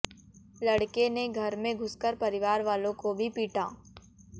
लड़के ने घर में घुसकर परिवारवालों को भी पीटा